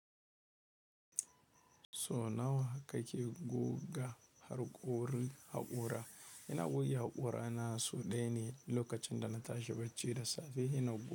So nawa kake guga harƙori haƙora? Ina goge haƙora na sau ɗaya ne lokacin da na tashi bacci da safe. Ina buga.